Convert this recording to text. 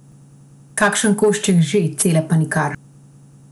Kakšen košček že, cele pa nikdar!